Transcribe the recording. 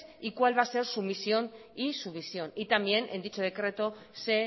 y cuál va a ser su misión y su visión y también en dicho decreto se